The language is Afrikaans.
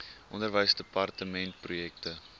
onderwysdepartementprojekte